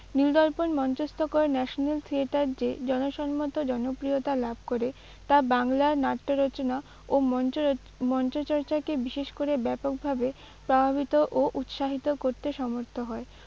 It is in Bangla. নীলদর্পণ মঞ্চস্থ করে national theatre যে জনসন্মত জনপ্রিয়তা লাভ করে তা বাংলার নাট্যরচনা ও মঞ্চর- মঞ্চচর্চাকে বিশেষ করে ব্যাপকভাবে প্রভাবিত ও উৎসাহিত করতে সমর্থ হয়।